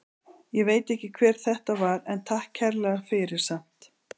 Ég veit ekki hver þetta var en takk kærlega fyrir samt.